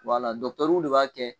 de b'a kɛ.